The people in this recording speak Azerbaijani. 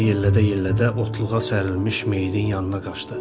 Havada yellədə-yellədə otluğa sərilmiş meyidin yanına qaşdı.